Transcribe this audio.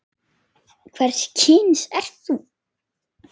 Hvers kyns ertu?